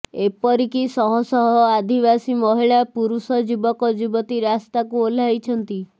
ଏପରି କି ଶହ ଶହ ଆଦିବାସୀ ମହିଳା ପୁରୁଷ ଯୁବକ ଯୁବତୀ ରାସ୍ତାକୁ ଓହ୍ଲାଇଛନ୍ତି